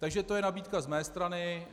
Takže to je nabídka z mé strany.